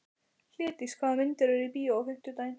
Hlédís, hvaða myndir eru í bíó á fimmtudaginn?